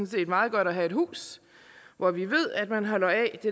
set meget godt at have et hus hvor vi ved at man holder af det